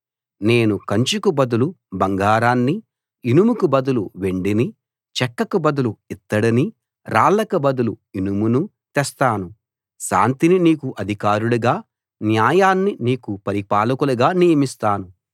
నేను కంచుకు బదులు బంగారాన్నీ ఇనుముకు బదులు వెండినీ చెక్కకు బదులు ఇత్తడినీ రాళ్ళకు బదులు ఇనుమునూ తెస్తాను శాంతిని నీకు అధికారులుగా న్యాయాన్ని నీకు పరిపాలకులుగా నియమిస్తాను